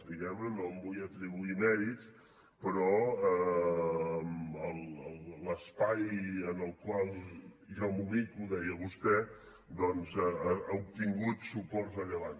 diguem ne no em vull atribuir mèrits però l’espai en el qual jo m’ubico deia vostè doncs ha obtingut suports rellevants